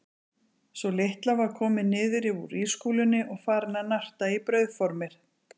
Sú litla var komin niður úr ískúlunni og farin að narta í brauðformið.